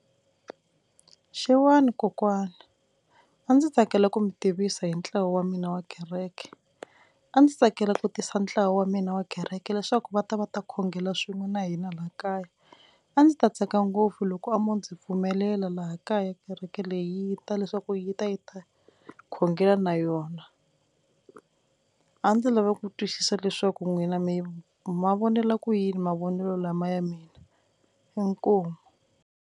Xewani kokwana a ndzi tsakela ku mi tivisa hi ntlawa wa mina wa kereke, a ndzi tsakela ku tisa ntlawa wa mina wa kereke leswaku va ta va ta khongela swin'we na hina laha kaya, a ndzi ta tsaka ngopfu loko mo ndzi pfumelela laha kaya kereke leyi ta leswaku yi ta yi ta khongela na yona a ndzi lava ku twisisa leswaku n'wina mi mavonelo ku yini mavonelo lama ya mina inkomu.